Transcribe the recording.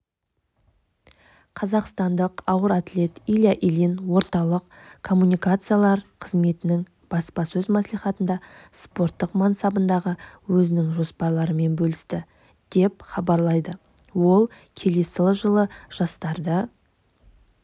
қазақстандық ауыр атлет илья ильин орталық коммуникациялар қызметінің баспасөз маслихатында спорттық мансабындағы өзінің жоспарларымен бөлісті деп хабарлайды ол келесі жылы жастарды